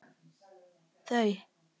Þau heita Helga og